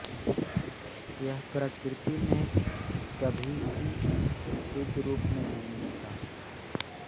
यह प्रकृति में कभी भी शुद्ध रूप में नहीं मिलता